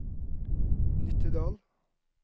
Nittedal